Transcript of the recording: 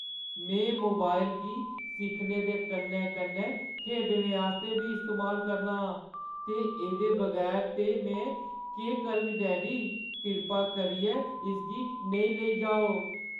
में मोबाइल गी सिक्खने दे कन्नै-कन्नै खेढने आस्तै बी इस्तेमाल करना आं ते एह्दे बगैर ते में केह् करङ, डैडी। कृपा करियै इसगी नेईं लेई जाओ।